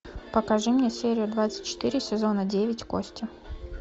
покажи мне серию двадцать четыре сезона девять кости